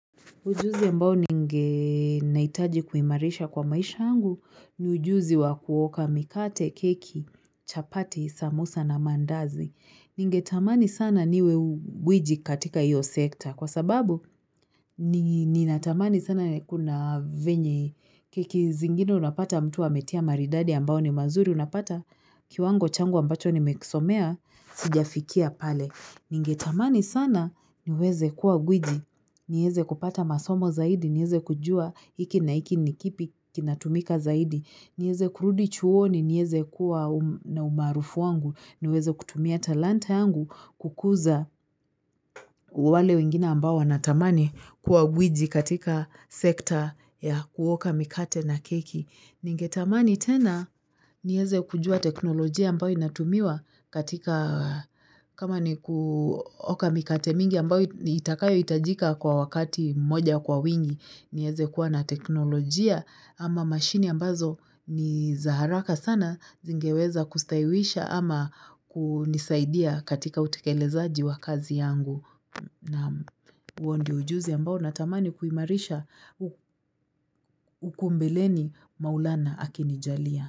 Ujuzi ambao ninge naitaji kuimarisha kwa maisha yangu ni ujuzi wa kuoka mikate, keki, chapati, sambusa na mandazi. Ningetamani sana niwe gwiji katika hiyo sekta kwasababu ninatamani sana kuna venye keki zingine unapata mtu wa ametia maridadi ambayo ni mazuri unapata kiwango changu ambacho nimekisomea sijafikia pale. Ningetamani sana niweze kuwa gwiji, niweze kupata masomo zaidi, niweze kujua hiki na hiki nikipi kinatumika zaidi, niweze kurudi chuoni, niweze kuwa na umaarufu wangu, niweze kutumia talanta yangu kukuza wale wengine ambao wanatamani kuwa gwiji katika sekta ya kuoka mikate na keki. Ningetamani tena niweze kujua teknolojia ambayo inatumiwa katika kama ni kuoka mikate mingi ambayo itakayo itajika kwa wakati mmoja kwa wingi. Niweze kuwa na teknolojia ama mashine ambazo ni za haraka sana zingeweza kustaiwisha ama kunisaidia katika utekelezaji wa kazi yangu. Na huo ndio ujuzi ambao natamani kuimarisha huku mbeleni maulana akinijalia.